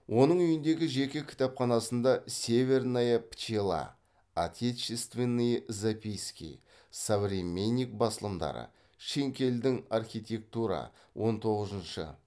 оның үйіндегі жеке кітапханасында северная пчела отечественные записки современник басылымдары шинкелдің архитектура он тоғызыншы